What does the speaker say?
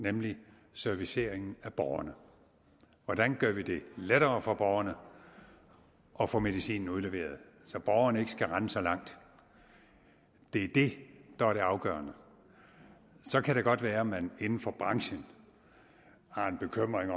nemlig serviceringen af borgerne hvordan gør vi det lettere for borgerne at få medicinen udleveret så borgerne ikke skal rende så langt det er det der er det afgørende så kan det godt være at man inden for branchen har en bekymring